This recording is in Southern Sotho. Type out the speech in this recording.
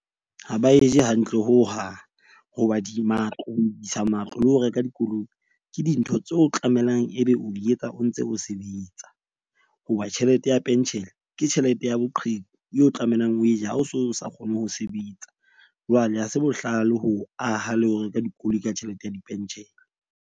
Ho ba e je hantle hohang hoba di matlo isa re lo reka dikoloi. Ke dintho tseo tlamelang ebe o di etsa o ntse o sebetsa. Hoba tjhelete ya penshene ke tjhelete ya boqheku eo tlamelang o e je, ha o so sa kgone ho sebetsa. Jwale ha se bohlale ho aha le ho reka dikoloi ka tjhelete ya di pentjhele.